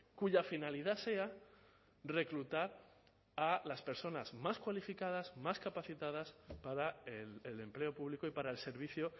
cuya finalidad sea reclutar a las personas más cualificadas más capacitadas para el empleo público y para el servicio